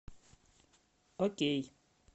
окей